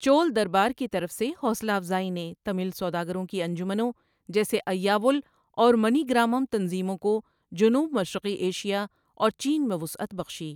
چول دربار کی طرف سے حوصلہ افزائی نے تمل سوداگروں کی انجمنوں جیسے ایّاوول اور منیگرامم تنظیموں کو جنوب مشرقی ایشیا اور چین میں وسعت بخشی۔